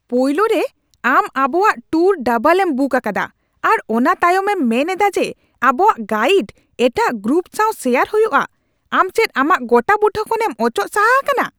ᱯᱳᱭᱞᱳ ᱨᱮ, ᱟᱢ ᱟᱵᱚᱣᱟᱜ ᱴᱩᱨ ᱰᱟᱵᱚᱞ ᱮᱢ ᱵᱩᱠ ᱟᱠᱟᱫᱟ ᱟᱨ ᱚᱱᱟ ᱛᱟᱭᱚᱢ ᱮᱢ ᱢᱮᱱ ᱮᱫᱟ ᱡᱮ ᱟᱵᱚᱣᱟᱜ ᱜᱟᱭᱤᱰ ᱮᱴᱟᱜ ᱜᱨᱩᱯ ᱥᱟᱶ ᱥᱮᱭᱟᱨ ᱦᱩᱭᱩᱜᱼᱟ ᱾ ᱟᱢ ᱪᱮᱫ ᱟᱢᱟᱜ ᱜᱚᱴᱟᱵᱩᱴᱟᱹ ᱠᱷᱚᱱ ᱮᱢ ᱚᱪᱚᱜ ᱥᱟᱦᱟ ᱟᱠᱟᱱᱟ ?